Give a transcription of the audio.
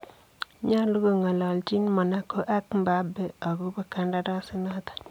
Nyoluu kongolonjin Monacco ak Mbappe agobo kandarasinoton.